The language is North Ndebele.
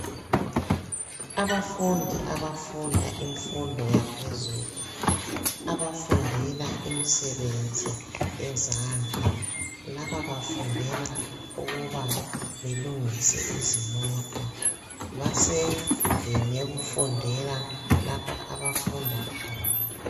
Abafundi abafunda imfundo yaphezulu abafundela imisebenzi yezandla, laba bafundela ukuba belungise izimota basendlini yokufundela lapho abafunda khona.